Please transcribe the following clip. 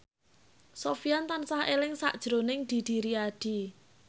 Sofyan tansah eling sakjroning Didi Riyadi